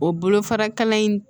O bolofara kalan in